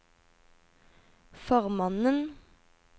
formannen